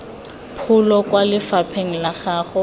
pholo kwa lefapheng la gago